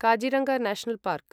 Kaziranga national park